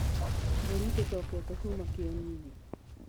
Mbũri citicokete kuma kĩeninĩ.